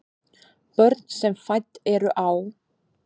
Börn sem fædd eru á